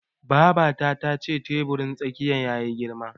Babata tace teburin tsakiyar yayi girma yesterday.